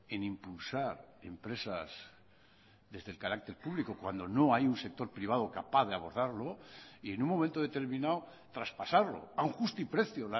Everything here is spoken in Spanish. en impulsar empresas desde el carácter público cuando no hay un sector privado capaz de abordarlo y en un momento determinado traspasarlo a un justiprecio